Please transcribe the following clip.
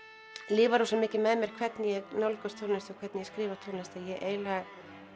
lifað rosamikið með mér hvernig ég nálgast tónlist og hvernig ég skrifa tónlist ég eiginlega